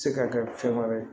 Se ka kɛ fɛn wɛrɛ ye